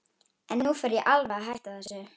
En nú fer ég alveg að hætta þessu.